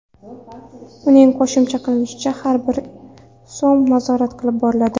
Uning qo‘shimcha qilishicha, har bir so‘m nazorat qilib boriladi.